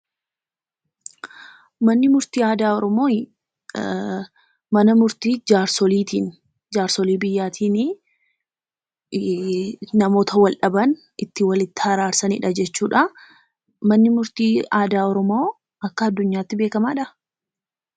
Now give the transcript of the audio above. manni murtii aadaa oromooyii, mana murtii jaarsoliitiini. Jaarsolii biyyaatiinii namoota wal dhaban itti walitti araarsaniidha jechuudha . Manni murtii aadaa Oromoo akka addunyaatti beekamaadhaa?